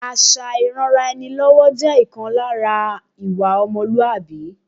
Àṣà ìranra-ẹni-lọ́wọ́ jẹ́ ọ̀kan lára ìwà ọmọlúwàbí